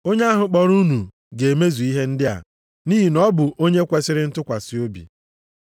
Onye ahụ kpọrọ unu ga-emezu ihe ndị a, nʼihi na ọ bụ onye kwesiri ntụkwasị obi.